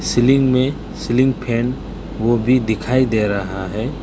Ceiling में ceiling fan वो भी दिखाई दे रहा है।